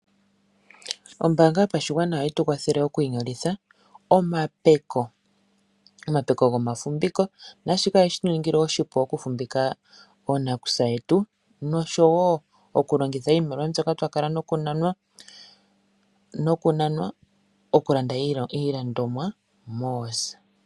Ombaanga yopashigwana oyetu kwathele okwiinyolitha omapeko. Omapeko goma fumbiko naa shika oye tu ningile oshipu oku fumbika oonakusa yetu nosho wo oku longitha iimaliwa mbyoka twa kala noku nanwa oku landa iilandomwa moosa.